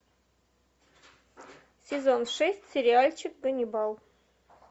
сезон шесть сериальчик ганнибал